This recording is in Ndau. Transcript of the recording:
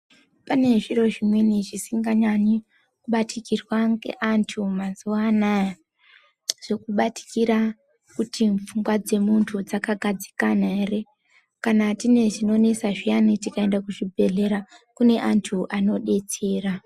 Pane zviro zvimweni zvisinganyanyi kubatikirwa ngeanthu mazuwa anaya Zvekubatikira kuti pfungwa dzemunthu dzakagadzikana ere. Kana tine zvinonesa zviyani, tikaende kuzvibhedhlera kune anthu anodetsera.